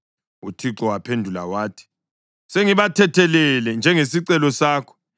UThixo waphendula wathi, “Sengibathethelele njengesicelo sakho.